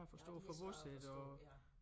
Ja de er svære at forstå ja